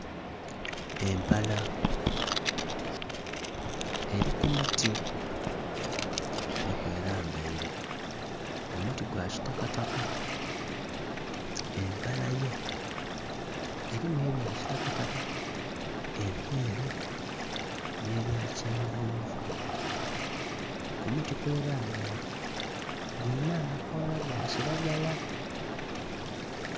Empala eri ku muti nhi kwe lambaire omuti gwa kitakataka empala yo erimu ebya kitakataka, ebyeru nhe bye kyenvunvu ku muti kwerabaire kuliku amakoola aga kilagala.